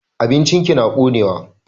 Abincin ki na konewa.